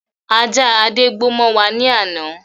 Ajá Adé gbó mọ wá ní ana.